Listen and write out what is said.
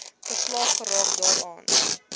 verslaaf geraak daaraan